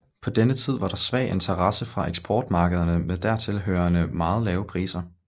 På denne tid var der svag interesse fra eksportmarkederne med dertil hørende meget lave priser